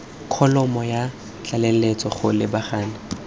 kholomo ya tlaleletso go lebagana